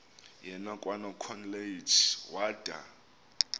yena kwanokholeji wada